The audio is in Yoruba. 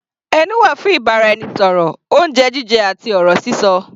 Ẹnu wà fún ìbáraẹnisọ̀rọ̀, oúnjẹ jíjẹ àti ọ̀rọ̀ sísọ.